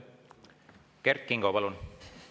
Kert Kingo, palun!